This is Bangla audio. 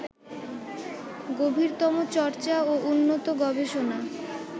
গভীরতম চর্চা ও উন্নত গবেষণা